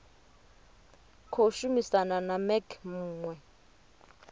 khou shumisana na mec muwe